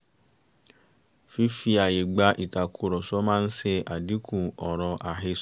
fífi àyè gba ìtàkùrọ̀sọ máa ń ṣe àdínkù ọ̀rọ̀ àhẹsọ́